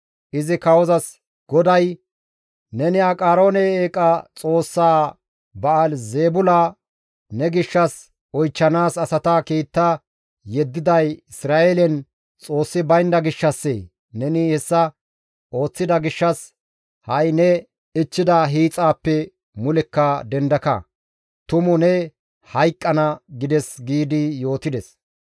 Izi kawozas, «GODAY, ‹Neni Aqaroone eeqa xoossa Ba7aali-Zeebula ne gishshas oychchanaas asata kiita yeddiday Isra7eelen Xoossi baynda gishshassee? Neni hessa ooththida gishshas ha7i ne ichchida hiixaappe mulekka dendaka; tumu ne hayqqana› gides» giidi yootides.